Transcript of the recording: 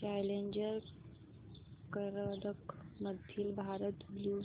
challenger करंडक मधील Bharat blue